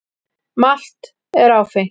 Malt er áfengt.